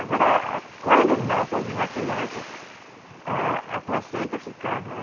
Agora, quando não só vinha a criança, a a placenta ficava.